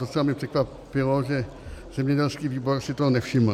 Docela mě překvapilo, že zemědělský výbor si toho nevšiml.